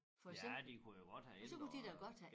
Ja de kunne jo godt have ændrede